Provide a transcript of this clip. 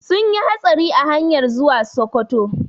Sunyi hatsari a hanyar zuwa Sokoto